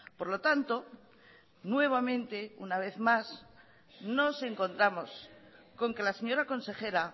por lo tanto nuevamente una vez más nos encontramos con que la señora consejera